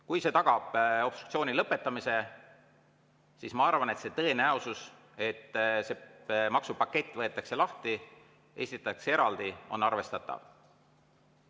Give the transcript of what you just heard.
Kui see tagab obstruktsiooni lõpetamise, siis ma arvan, et see tõenäosus, et see maksupakett võetakse lahti ja esitatakse eraldi, on arvestatav.